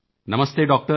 ਨਮਸਤੇ doctor